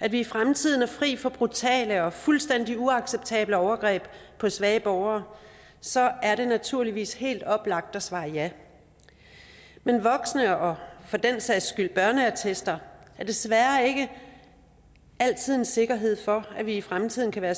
at vi i fremtiden er fri for brutale og fuldstændig uacceptable overgreb på svage borgere så er det naturligvis helt oplagt at svare ja men voksen og for den sags skyld børneattester er desværre ikke altid en sikkerhed for at vi i fremtiden kan